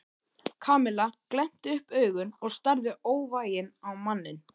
Kamilla glennti upp augun og starði óvægin á manninn.